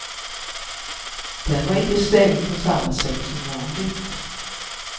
Den var inte stängd på samma sätt som vanligt.